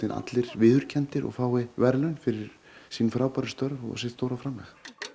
allir viðurkenndir og fái verðlaun fyrir sín frábæru störf og sitt stóra framlag